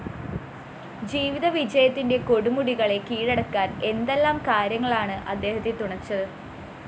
ജീവിതവിജയത്തിന്റെ കൊടുമുടികളെ കീഴടക്കാന്‍ എന്തെല്ലാം കാര്യങ്ങളാണ് അദ്ദേഹത്തെ തുണച്ചത്